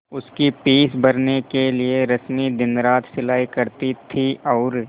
उसकी फीस भरने के लिए रश्मि दिनरात सिलाई करती थी और